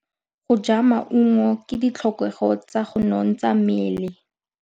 Go ja maungo ke ditlhokegô tsa go nontsha mmele.